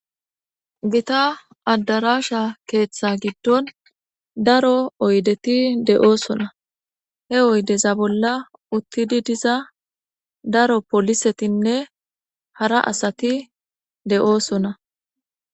gita addarasha keeththa giddon daro oydeti de7oosona he oydeza bolla uttidi diza daro polisetinne hara asati de7oosona